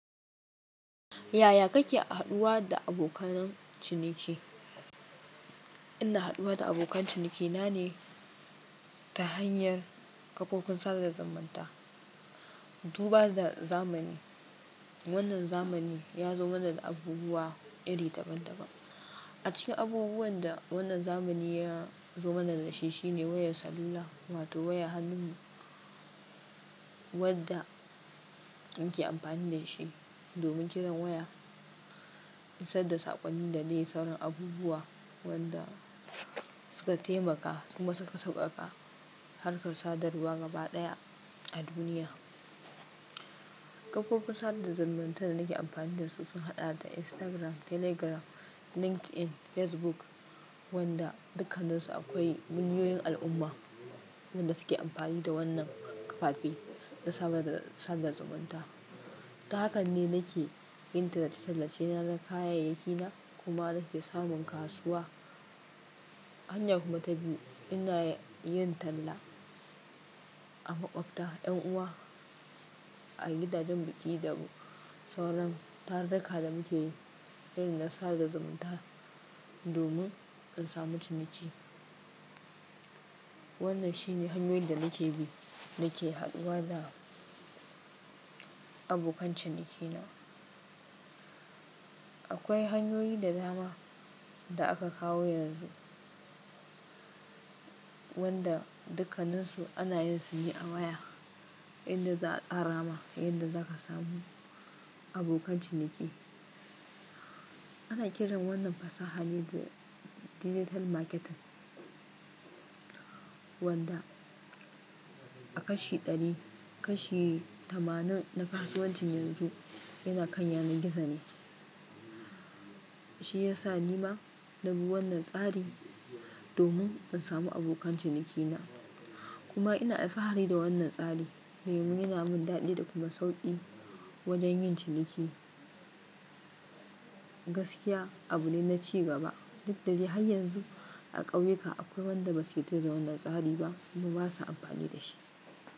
Yaya kake haɗuwa da abokanan ciniki? Ina haɗuwa da abokan cinikina ne ta hanyar kafofin sadar da zumanta. Duba da zamani, wannan zamani ya zo mana da abubuwa iri daban-daban. A cikin abubuwan da wannan zamani ya zo mana da shi shine wayar salula wato waya hannu wadda muke amfani da shi domin kiran waya, isar da saƙonni da dai sauran abubuwa wanda suka taimaka kuma suka sauƙaƙa harkar sadarwa gaba ɗaya a duniya. Kafofin sadar da zaumanta da nake amfani da su sun haɗa da Instagram, Telegram, LinkedIn, Facebook wanda dukkaninsu akwai munyoyin al'umma wanda suke amfani da wannan kafafi na sadar da zamanta. Ta hakan ne nake yin tallace tallace na da kayayyakina kuma nake samun kasuwa. Hanya kuma ta biyu ina yin talla a makwabta, yan uwa, a gidajen biki da sauran tarurruka da muke yi irin na sada zumanta domin in samu ciniki. Wannan shine hanyoyin da nake bi nake haɗuwa da abokan cinikina. Akwai hanyoyi da dama da aka kawo yanzu wanda dukkaninsu ana yin su ne a waya inda za a tsara ma inda zaka samu abokan ciniki. Ana kiran wannan fasahar ne Digital Marketing wanda a kashi ɗari kashi tamanin na kasuwancin yanzu yana kan yanar gizo ne. Shi ya sa nima na bi wannan tsari domin in samu abokan cinikina. Kuma ina alfahari da wannan tsari domin yana min daɗi da kuma sauƙi wajen yin ciniki. Gaskiya abu ne na ci gaba duk da dai har yanzu a ƙauyuka akwai wanda ba su yarda da wannan tsari ba kuma ba sa amfani da shi.